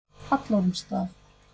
Hallormsstað